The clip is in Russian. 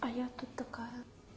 а я тут такая